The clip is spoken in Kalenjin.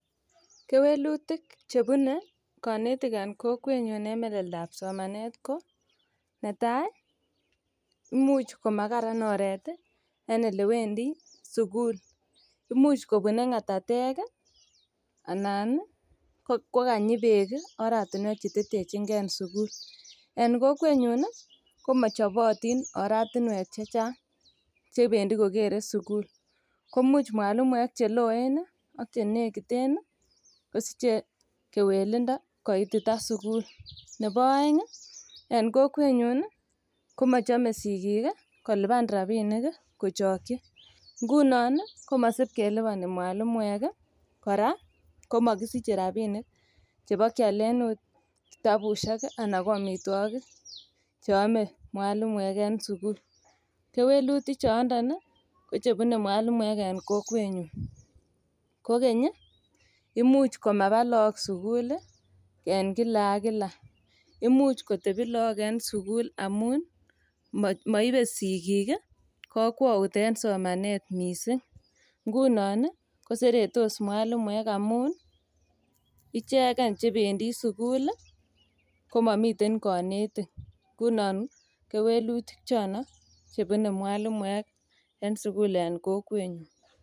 Kewelutik chebune konetik en kokwenyun en meleldab somanet ko netai ko imuch komakararan oret en olewendi sugul. Imuch kobune ngatatek anan ko kanyi beek oratinwek chetetechingen sugul. En kokwenyun komachobatin oratinwek che chang chebendi kogere sugul, komuch mwalimuek che loen ak che negiten kosiche kewelindo koitita sugul. Nebo aeng en kokwenyun komachome sigik koluban rapinik kochokyi. Ngunon komasip kelubani mwalimuek. Kora komakisiche rapinik chebokialen oot kitabusiek ana koamitwogik che ame mwalimuek en sugul. Keweluti chondon kochebune mwalimuek en kokwenyun. Kogeny, imuch komaba look sugul en kila ak kila. Imuch kitebi look en sugul amun moibe sigik kokwout en somanet mising. Ngunon koseretos mwalimuek amun ichegen chebendi sugul komamiten konetik. Ngunon kewelutik chono chebune mwalimuek en sugul en kokwenyun.